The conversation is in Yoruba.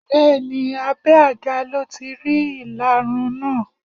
Bẹẹni abé àga lọ tí rí ìlarun náà.